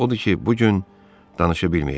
Odur ki, bu gün danışa bilməyəcəyik.